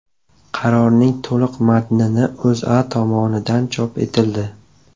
Qarorning to‘liq matnini O‘zA tomonidan chop etildi .